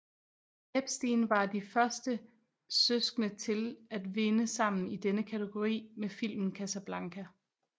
Epstein var de første søskende til at vinde sammen i denne kategori med filmen Casablanca